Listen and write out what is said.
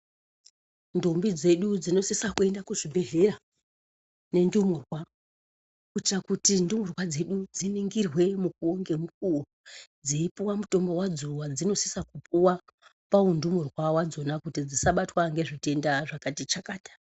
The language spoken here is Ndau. Ndombi dzedu dzinosisa kuenda kuzvibhedhlera nendumurwa. Kuitira kuti ndumurwa dzedu dziningirwe mukuvo nemukuvo. Dzeipuwa mutombo vadzo vadzinosisa kupuwa paundumurwa vadzona kuti dzisabatwa nezvitenda zvakatichakata.